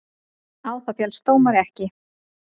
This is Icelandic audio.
Á það féllst dómari ekki.